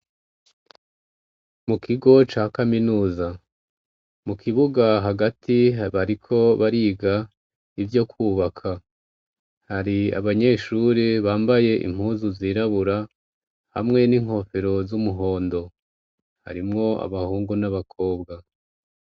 Mu kigo ca kaminuza mu kibuga hagati bariko bariga ivyo kwubaka hari abanyeshuri bambaye impuzu zirabura hamwe n'inkofero z'umuhondo harimwo abahungu n'abakobwa.